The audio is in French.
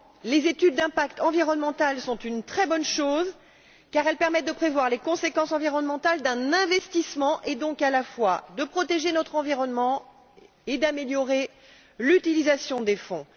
Les études d'impact environnemental sont une très bonne chose, car elles permettent de prévoir les conséquences environnementales d'un investissement et, donc, à la fois de protéger notre environnement et d'améliorer l'utilisation des fonds.